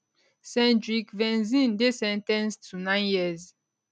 cendric venzin dey sen ten ced to nine years